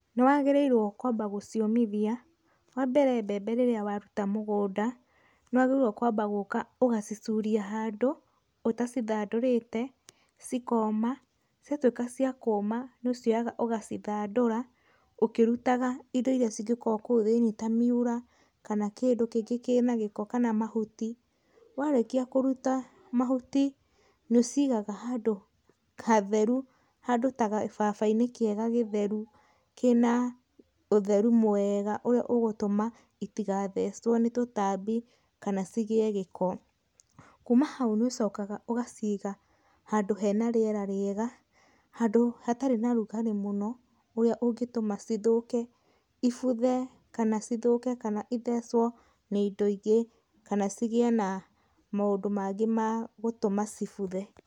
Nĩ wagĩriirwo kwamba gũciomithia. Wa mbere mbembe rĩrĩa waruta mũgũnda, nĩ wagĩrĩirwo kwamba gũka ũgacicuria handũ, ũtacithandũrĩte, ci koma, cia twĩka cia kũma nĩ ũcioyaga ũgacithandũra, ũkirutaga indo iria cingĩkorwo kũu thĩinie ta miura, kana kindũ kĩngĩ kĩna gĩko kama mahuti, warĩkia kũruta mahuti, nĩ ũcigaga handũ hatheru, handũ ta gababa-inĩ kĩega gĩtheru, kĩna ũtheru mwega ũrĩa ũgũtũma itigathecwo nĩ tũtambi kana cigĩe gĩko. Kuma hau nĩ ũcokaga ũgaciga, handũ hena rĩera rĩega, handũ hatarĩ na ũrugarĩ mũno, ũrĩa ũngĩtuma cithũke, ibuthe kana cithũke kana ithecwo nĩ indo ingĩ, kana cigie na maũndũ mangĩ ma gũtũma cibuthe.